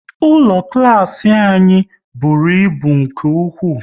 Ụlọ klas anyị bụrụ ịbụ nke ụkwụ